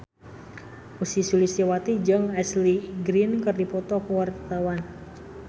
Ussy Sulistyawati jeung Ashley Greene keur dipoto ku wartawan